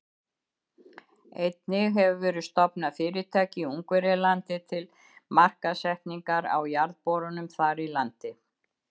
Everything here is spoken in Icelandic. Einnig hefur verið stofnað fyrirtæki í Ungverjalandi til markaðssetningar á jarðborunum þar í landi.